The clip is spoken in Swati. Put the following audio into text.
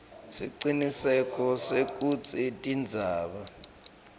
siciniseko sekutsi tindzaba